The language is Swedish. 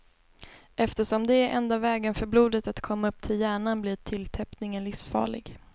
Eftersom det är enda vägen för blodet att komma upp till hjärnan blir tilltäppningen livsfarlig.